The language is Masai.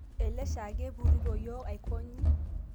Ele shaake epuruto yio aikonyi